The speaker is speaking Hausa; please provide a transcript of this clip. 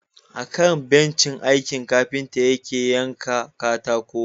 Akan bencin aiki kafinta yake yanka katako.